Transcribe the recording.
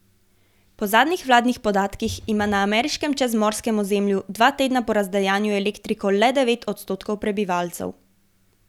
Po zadnjih vladnih podatkih ima na ameriškem čezmorskem ozemlju dva tedna po razdejanju elektriko le devet odstotkov prebivalcev.